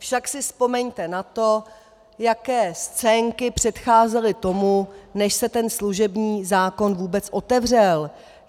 Však si vzpomeňte na to, jaké scénky předcházely tomu, než se ten služební zákon vůbec otevřel.